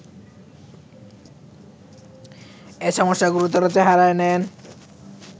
এ সমস্যা গুরুতর চেহারা নেয়